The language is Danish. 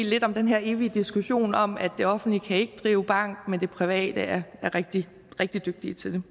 lidt om den her evige diskussion om at det offentlige ikke kan drive bank men at de private er rigtig rigtig dygtige til